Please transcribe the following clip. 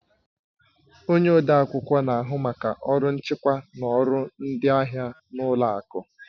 Onye odeakwụkwọ na-ahụ maka ọrụ nchịkwa na ọrụ ndị ahịa na ụlọ akụ